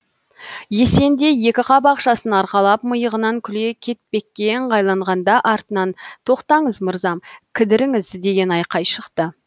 есен де екі қап ақшасын арқалап миығынан күле кетпекке ыңғайланғанда артынан тоқтаңыз мырзам кідіріңіз деген айқай шықты